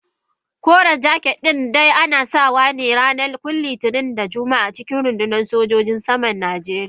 Koren jaket din dai ana sawa ne kawai a ranakun Litinin da Juma'a a cikin rundunar sojojin saman Najeriya.